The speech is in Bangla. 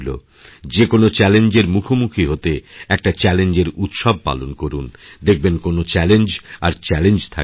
যে কোনও চ্যালেঞ্জের মুখোমুখিহতে একটা চ্যালেঞ্জের উৎসব পালন করুন দেখবেন কোনও চ্যালেঞ্জ আর চ্যালেঞ্জ থাকবেনা